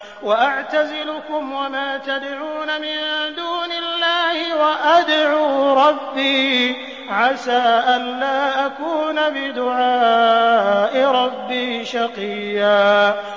وَأَعْتَزِلُكُمْ وَمَا تَدْعُونَ مِن دُونِ اللَّهِ وَأَدْعُو رَبِّي عَسَىٰ أَلَّا أَكُونَ بِدُعَاءِ رَبِّي شَقِيًّا